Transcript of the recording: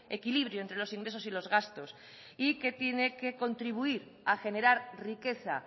equilibrio entre los ingresos y los gastos y que tiene que contribuir a generar riqueza